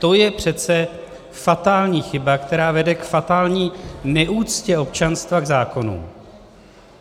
To je přece fatální chyba, která vede k fatální neúctě občanstva k zákonům.